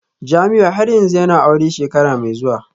Jamiu har yanzu yana aure shekara mai zuwa?